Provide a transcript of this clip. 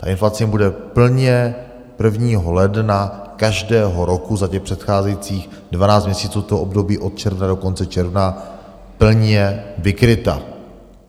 A inflace jim bude plně 1. ledna každého roku za těch předcházejících 12 měsíců, to období od června do konce června, plně vykryta.